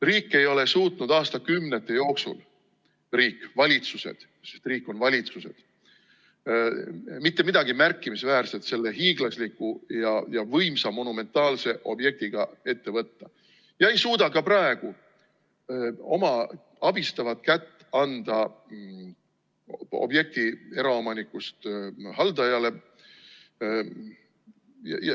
Riik ei ole suutnud aastakümnete jooksul – riik, valitsused, sest riik on valitsused – mitte midagi märkimisväärset selle hiiglasliku ja võimsa monumentaalse objektiga ette võtta ja ei suuda ka praegu oma abistavat kätt anda objekti eraomanikust haldajale.